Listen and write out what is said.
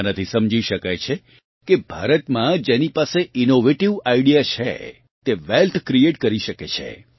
આનાંથી સમજી શકાય છે કે ભારતમાં જેની પાસે ઇનોવેટિવ આઇડિયા છે તે વેલ્થ ક્રિએટ કરી શકે છે